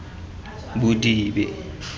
bodibe